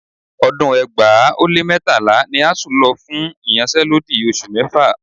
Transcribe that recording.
Ọdún ẹgbàá ó lé mẹ́tàlá ni ASUU lọ fún ìyanṣẹ́lódì oṣù mẹ́fà